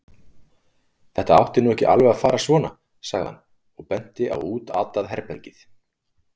Þetta átti nú ekki alveg að fara svona, sagði hann og benti á útatað herbergið.